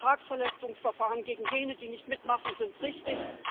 Vertragsverletzungsverfahren gegen jene, die nicht mitmachen, sind richtig.